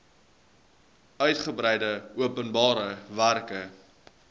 uitgebreide openbare werke